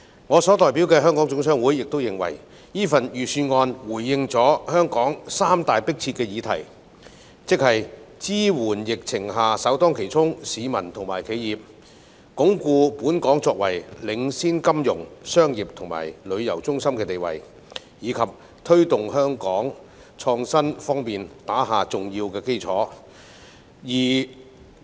我代表的香港總商會認為，預算案回應了香港三大迫切議題，即支援疫情下首當其衝的市民及企業，鞏固本港作為領先金融、商業及旅遊中心的地位，以及推動香港在創新方面打下重要基礎。